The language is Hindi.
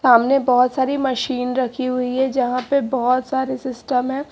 सामने बहुत सारी मशीन रखी हुई है जहां पे बहुत सारे सिस्टम है।